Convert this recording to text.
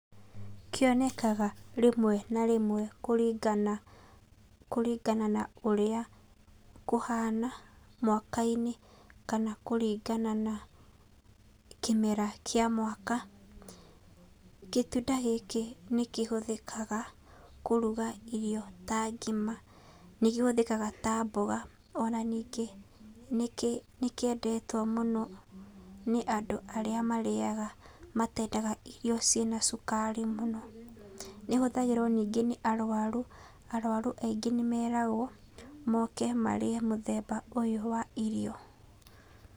Kĩonekaga rĩmwe na rĩmwe, kũringana kũringana na ũrĩa kũhana, mwakainĩ, kana kũringana na kĩmera kĩa mwaka, gĩtunda gĩkĩ nĩkĩhũthĩkaga kũruga irio ta ngima. Nĩkĩhũthĩkaga ta mboga, ona ningĩ, nĩkĩ nĩkĩendetwo mũno nĩ andũ arĩa marĩaga matendaga irio ciĩna cukari mũno. Nĩhũthagĩrwo nĩngĩ nĩ arwaru, arwaru aingĩ nĩmeragwo moke marĩe mũthemba ũyũ wa irio.